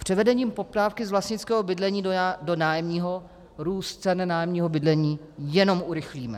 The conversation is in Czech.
Převedením poptávky z vlastnického bydlení do nájemního růst cen nájemního bydlení jenom urychlíme.